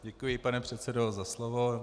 Děkuji, pane předsedo, za slovo.